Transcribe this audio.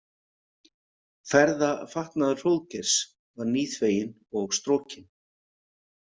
Ferðafatnaður Hróðgeirs var nýþveginn og strokinn.